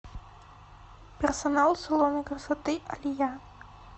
персонал салона красоты алия